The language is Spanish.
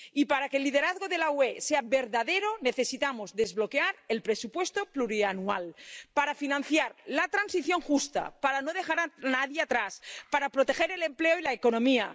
Y para que el liderazgo de la UE sea verdadero necesitamos desbloquear el presupuesto plurianual para financiar la transición justa, para no dejar a nadie atrás, para proteger el empleo y la economía.